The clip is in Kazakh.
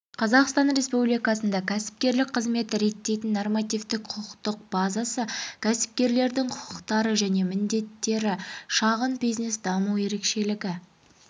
қазақстан республикасында кәсіпкерлік қызметті реттейтін нормативтік құқықтық базасы кәсіпкерлердің құқықтары және міндеттері шағын бизнес даму ерекшелігі